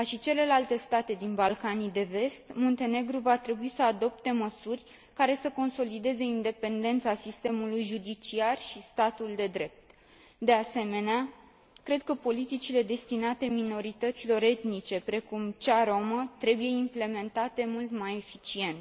Ca și celelalte state din Balcanii de Vest, Muntenegru va trebui să adopte măsuri care să consolideze independența sistemului judiciar și statul de drept. De asemenea, cred că politicile destinate minorităților etnice, precum cea rromă, trebuie implementate mult mai eficient.